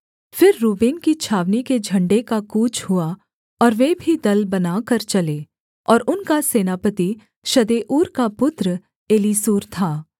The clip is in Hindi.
फिर रूबेन की छावनी के झण्डे का कूच हुआ और वे भी दल बनाकर चले और उनका सेनापति शदेऊर का पुत्र एलीसूर था